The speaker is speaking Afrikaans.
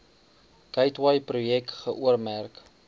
gateway projek geoormerk